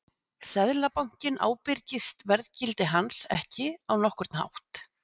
seðlabankinn ábyrgist verðgildi hans ekki á nokkurn hátt